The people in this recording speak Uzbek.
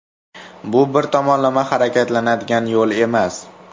Bu bir tomonlama harakatlanadigan yo‘l emas.